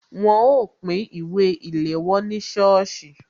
Wọn ó pín ìwé ìléwọ́ ní sọ́ọ̀sì